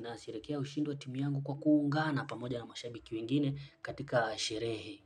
nasherehekea ushindi wa timu yangu kwa kuungana pamoja na mashabiki wengine katika sherehe.